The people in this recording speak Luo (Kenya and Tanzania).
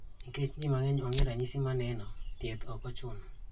Nikech ji mang'eny onge ranyisi maneno, thieth okochuno